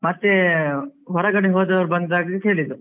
ಮತ್ತೆ ಹೊರಗಡೆ ಹೋದವರು ಬಂದಾಗ ಕೇಳಿದ್ರು